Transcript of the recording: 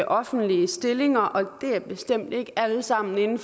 offentlige stillinger og det er bestemt ikke alle sammen inden